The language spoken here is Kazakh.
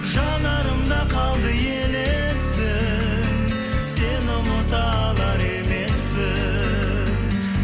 жанарымда қалды елесің сені ұмыта алар емеспін